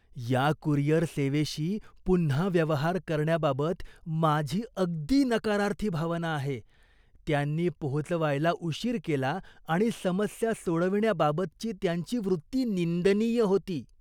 या कुरिअर सेवेशी पुन्हा व्यवहार करण्याबाबत माझी अगदी नकारार्थी भावना आहे. त्यांनी पोहोचवायला उशीर केला आणि समस्या सोडविण्याबाबतची त्यांची वृत्ती निंदनीय होती.